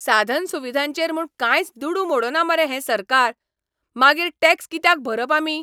साधनसुविधांचेर म्हूण कांयच दुडू मोडना मरे हें सरकार? मागीर टॅक्स कित्याक भरप आमी?